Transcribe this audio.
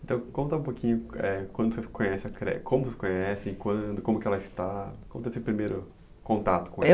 Então, conta um pouquinho, é, como vocês conhecem a, como vocês conhecem, quando, como que ela está, como foi o seu primeiro contato com ela?